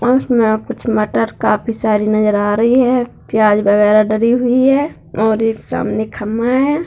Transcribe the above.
उसमें कुछ मटर काफी सारी नजर आ रही है प्याज वगैरा डली हुई है और एक सामने खंभा हैं।